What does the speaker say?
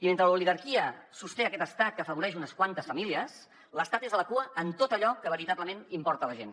i mentre l’oligarquia sosté aquest estat que afavoreix unes quantes famílies l’estat és a la cua en tot allò que veritablement importa a la gent